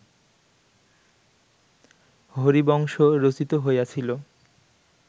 হরিবংশ রচিত হইয়াছিল